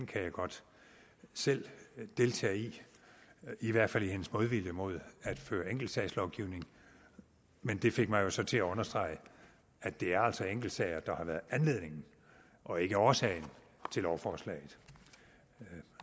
kan jeg godt selv deltage i i hvert fald i hendes modvilje mod at føre enkeltsagslovgivning men det fik mig jo så til at understrege at det altså er enkeltsager der har været anledningen og ikke årsagen til lovforslaget